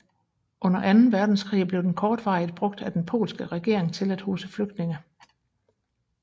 Undeer anden verdenskrig blev den kortvarigt brugt af den polske regering til at huse flygtninge